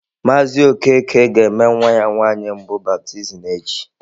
Mazị Okeke ga-eme nwa ya nwanyị mbụ baptizim echi.